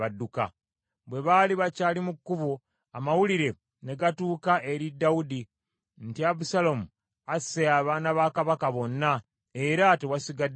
Bwe baali bakyali mu kkubo, amawulire ne gatuuka eri Dawudi nti, “Abusaalomu asse abaana ba kabaka bonna, era tewasigadde n’omu.”